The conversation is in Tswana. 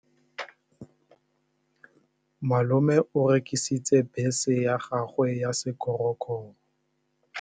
Malome o rekisitse bese ya gagwe ya sekgorokgoro.